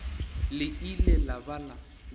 le ile la ba la